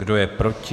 Kdo je proti?